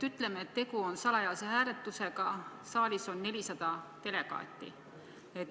Ütleme, et tegu on salajase hääletusega, saalis on 400 delegaati.